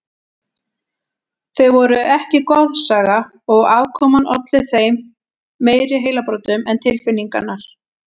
Þau voru ekki goðsaga og afkoman olli þeim meiri heilabrotum en tilfinningarnar.